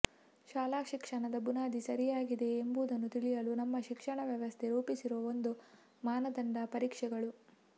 ಶಾಲಾ ಶಿಕ್ಷಣದ ಬುನಾದಿ ಸರಿಯಾಗಿದೆಯೇ ಎಂಬುದನ್ನು ತಿಳಿಯಲು ನಮ್ಮ ಶಿಕ್ಷಣ ವ್ಯವಸ್ಥೆ ರೂಪಿಸಿರುವ ಒಂದು ಮಾನದಂಡ ಪರೀಕ್ಷೆಗಳು